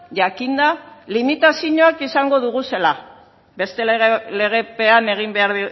jakinda limitazioak izango ditugula beste legepean egin behar